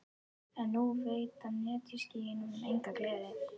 En nú veita netjuskýin honum enga gleði.